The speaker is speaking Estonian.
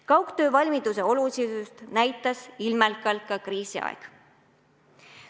Kaugtöövalmiduse olulisust näitas ilmekalt ka kriisiaeg.